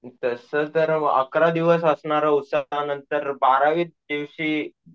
तसं तर अकरा दिवस असणाऱ्या उत्सवानंतर बाराव्या दिवशी,